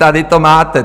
Tady to máte.